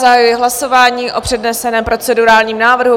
Zahajuji hlasování o předneseném procedurálním návrhu.